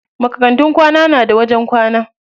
Makarantun kwana na da wajen kwana.